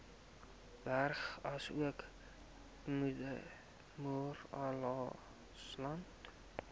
berge asook moeraslande